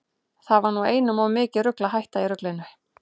Það var nú einum of mikið rugl að hætta í ruglinu.